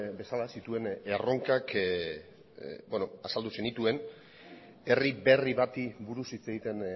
bezala zituen erronkak azaldu zenituen herri berri bati buruz hitz egiten